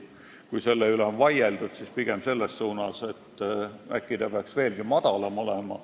Kui selle üle on vaieldud, siis pigem selles suunas, et äkki peaks see olema veelgi madalam.